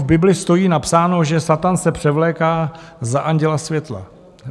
V Bibli stojí napsáno, že Satan se převléká za anděla světla.